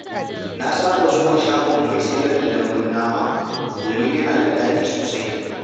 Na saba zuwa shagon mai sayar da dambun nama domin yana da daɗi sosai.